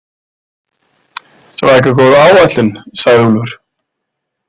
Svaka góð áætlun, sagði Úlfur.